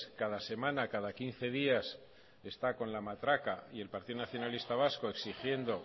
cada semana cada quince días está con la matraca y el partido nacionalista vasco exigiendo